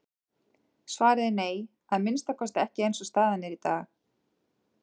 Svarið er nei, að minnsta kosti ekki eins og staðan er í dag.